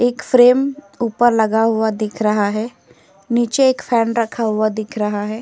एक फ्रेम ऊपर लगा हुआ दिख रहा है। नीचे एक फैन रखा हुआ दिख रहा है।